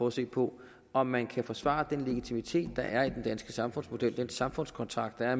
at se på om man kan forsvare den legitimitet der er i den danske samfundsmodel den samfundskontrakt der er